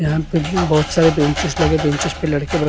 यहां पे बहोत सारे बेंचेस लगे बेंचेस पे लड़के--